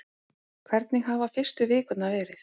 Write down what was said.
Hvernig hafa fyrstu vikurnar verið?